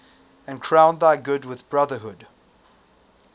and crown thy good with brotherhood